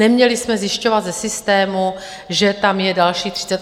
Neměli jsme zjišťovat ze systému, že tam je dalších 38 miliard.